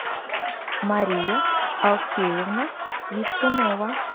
мария алфеевна свистунова